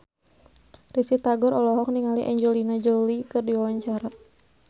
Risty Tagor olohok ningali Angelina Jolie keur diwawancara